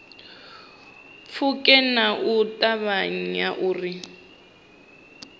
pfuke nga u ṱavhanya uri